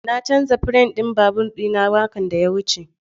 Na canza firam ɗin babur ɗina makon da ya wuce.